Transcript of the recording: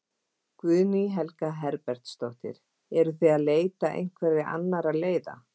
Guðný Helga Herbertsdóttir: Eruð þið að leita einhverja annarra leiða?